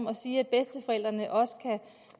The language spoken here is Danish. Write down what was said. at sige at bedsteforældrene også kan